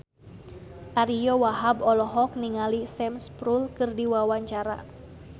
Ariyo Wahab olohok ningali Sam Spruell keur diwawancara